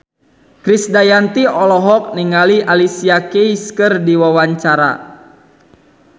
Krisdayanti olohok ningali Alicia Keys keur diwawancara